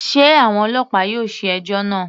Sé àwọn ọlọ́pàá yóò ṣe ẹjọ́ náà.